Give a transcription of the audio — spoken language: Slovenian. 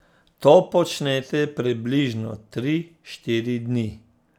To počnete približno tri, štiri dni.